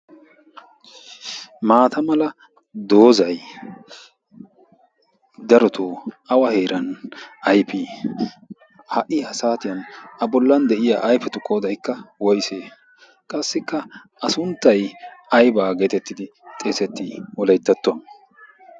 maata mala doozai darotoo awa heeran aifii? ha77i ha saatiyan a bollan de7iya aifetu koodaikka woise? qassikka a sunttai aibaa geetettidi xeesettii woleittattuwaan?